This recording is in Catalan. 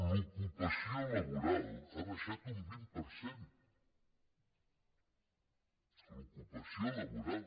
l’ocupació laboral ha baixat un vint per cent l’ocupació laboral